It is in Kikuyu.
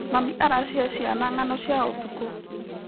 Mami aracihe ciana ng'ano cia ũtukũ.